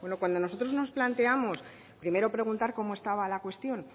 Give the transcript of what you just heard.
cuando nosotros nos planteamos primero preguntar cómo estaba la cuestión